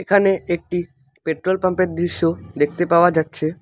এখানে একটি petrol pump -এর দৃশ্য দেখতে পাওয়া যাচ্ছে।